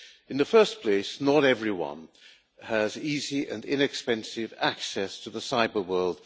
In the first place, not everyone has easy and inexpensive access to the cyber world